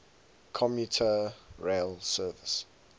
commuter rail service